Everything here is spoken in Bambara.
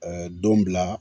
don bila